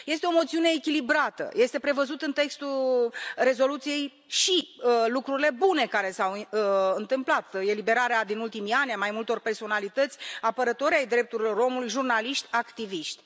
Este o moțiune echilibrată, sunt prevăzute în textul rezoluției și lucrurile bune care s au întâmplat eliberarea din ultimii ani a mai multor personalități, apărători ai drepturilor omului, jurnaliști, activiști.